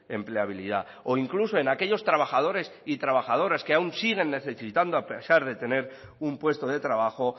empleabilidad o incluso en aquellos trabajadores y trabajadoras que aún siguen necesitando a pesar de tener un puesto de trabajo